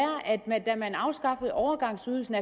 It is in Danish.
at man ikke da man afskaffede overgangsydelsen